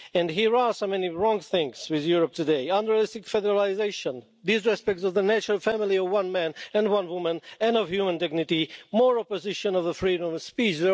There are so many wrong things with Europe today unrealistic federalisation, disrespect of the natural family of one man and one woman and of human dignity, more opposition to the freedom of speech.